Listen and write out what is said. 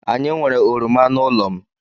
Anyị nwere oroma n'ụlọ m.